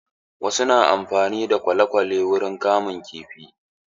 Wasu na amfani da kwale-kwale wurin kamun kifi.